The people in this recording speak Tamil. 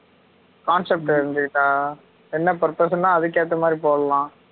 concept தெரிஞ்சுட்டா என்ன purpose னா அதுக்கு ஏற்ற மாதிரி போடலாம்